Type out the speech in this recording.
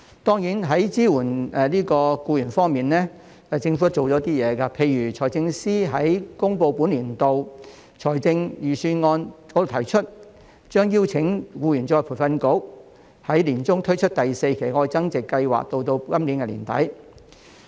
當然在支援僱員方面，政府曾推出一些措施，例如財政司司長在公布本年度財政預算案時提出，將邀請僱員再培訓局在年中推出第四期"特別.愛增值"計劃至今年年底。